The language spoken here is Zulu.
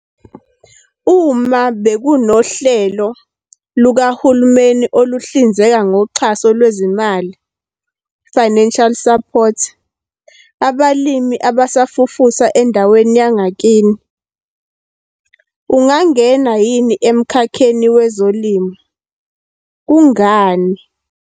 Uma bekunohlelo lukahulumeni oluhlinzeka ngoxhaso lwezimali, financial support, abalimi abasafufusa endaweni yangakini. Ungangena yini emkhakheni wezolimo? Kungani?